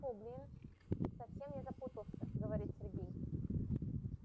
тьфу блин совсем я запутался говорит сергей